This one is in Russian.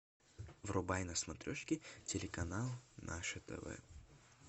врубай на смотрешке телеканал наше тв